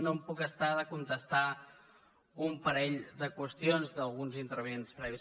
no em puc estar de contestar un parell de qüestions d’alguns intervinents previs